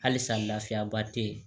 Halisa laafiya ba tɛ ye